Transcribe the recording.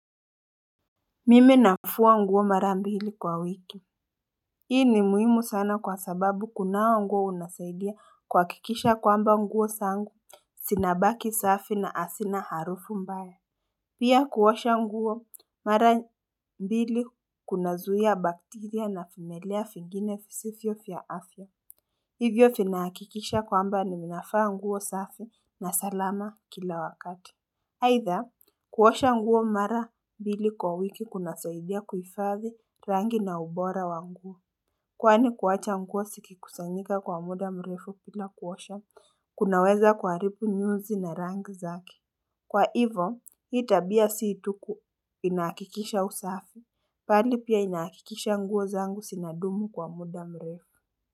Mime nafua nguo mara mbili kwa wiki Hii ni muhimu sana kwa sababu kunawa nguo unasaidia kuwakikisha kwamba nguo sangu sinabaki safi na asina harufu mbaya Pia kuosha nguo mara mbili kuna zuhia bacteria na vimelea fingine fisifyo fya afya Hivyo finaakikisha kwamba nininafaa nguo safi na salama kila wakati aidha, kuosha nguo mara mbili kwa wiki kuna saidia kufadhi rangi na ubora wa nguo Kwani kuwacha nguo sikikusanyika kwa muda mrefu pila kuosha, kunaweza kuaharipu nyuzi na rangi zake Kwa hivo, hi tabia sii tu ku inahakikisha usafi, pali pia inahakikisha nguo zangu sina dumu kwa muda mrefu.